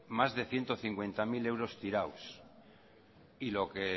más de ciento cincuenta mil euros tirados y lo que